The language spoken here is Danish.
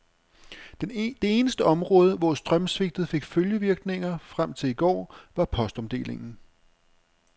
Det eneste område, hvor strømsvigtet fik følgevirkninger frem til i går, var postomdelingen.